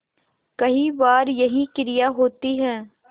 कई बार यही क्रिया होती है